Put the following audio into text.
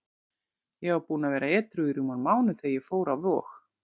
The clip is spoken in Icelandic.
Ég var búinn að vera edrú í rúman mánuð þegar ég fór á Vog.